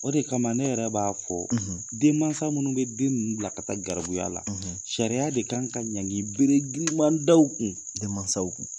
O de kama ne yɛrɛ b'a fɔ , ridenmansa minnu bɛ den ninnu bila ka taa garibuya la , sariya de kan ka ɲankili bere girinma da u kun, denmansaw.